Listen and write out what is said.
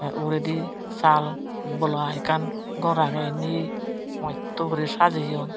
uguredi sal bola ekkan gor agey indi moddo guri sajeyon.